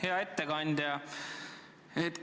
Hea ettekandja!